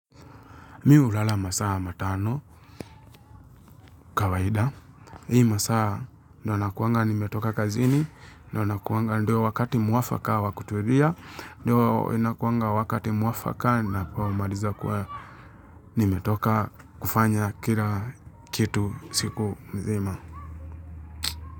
Mimi ulala masaa matano kawaida. Hii masaa ndo wanakuanga nimetoka kazini, ndo wanakuanga ndio wakati muwafaka wakuturia, ndo wakati muwafaka na kwa kumaliza kwa nimetoka kufanya kila kitu siku mzima.